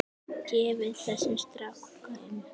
Gefið þessum strák gaum.